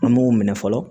An b'o minɛ fɔlɔ